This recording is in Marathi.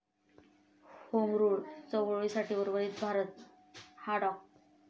होमरूल चळवळीसाठी उर्वरित भारत हा डॉ.